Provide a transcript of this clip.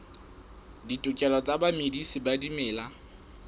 ditokelo tsa bamedisi ba dimela